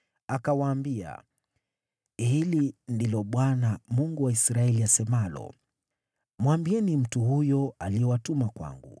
Akawaambia, “Hivi ndivyo asemavyo Bwana, Mungu wa Israeli: Mwambieni yule mtu aliyewatuma ninyi kwangu,